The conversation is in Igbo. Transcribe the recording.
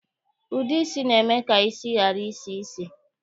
Ude isi na-eme ka isi ghara isi ísì